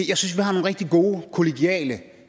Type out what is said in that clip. jeg synes vi har nogle rigtig gode kollegiale